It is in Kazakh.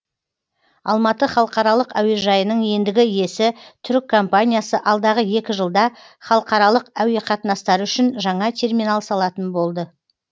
алматы халықаралық әуежайының ендігі иесі түрік компаниясы алдағы екі жылда халықаралық әуеқатынастары үшін жаңа терминал салатын болды